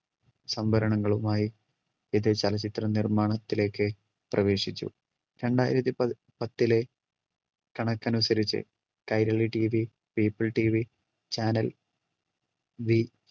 സംഭരണങ്ങളുമായി ഇത് ചലച്ചിത്ര നിർമ്മാണത്തിലേക്ക് പ്രവേശിച്ചു. രണ്ടായിരത്തി പ~പത്തിലെ കണക്കനുസരിച്ച് കൈരളി TVpeopleTVchannel V